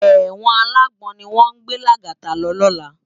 Èwòn àlágbòn niwòn gbé Lagata lò lòlá